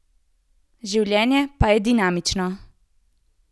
Življenje pa je dinamično.